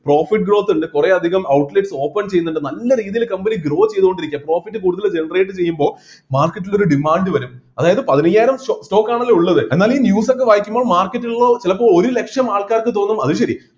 profit growth ഇണ്ട് കുറെ അധികം outlets open ചെയ്യുന്നുണ്ട് നല്ല രീതിയില് company grow ചെയ്തുകൊണ്ടിരിക്കാ profit കൂടുതല് generate ചെയ്യുമ്പോ market ൽ ഒരു demand വരും അതായത് പതിനയ്യായിരം സ്റ്റോ stock ആണല്ലോ ഉള്ളത് എന്നാല് ഈ news ഒക്കെ വായിക്കുമ്പോ market ൽ ഉള്ളവര് ചിലപ്പോൾ ഒരു ലക്ഷം ആൾക്കാർക്ക് തോന്നും അത് ശരി